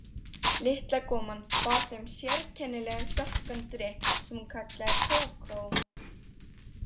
Litla konan bar þeim sérkennilegan dökkan drykk sem hún kallaði kókó.